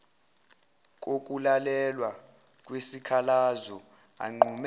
kokulalelwa kwesikhalazo anqume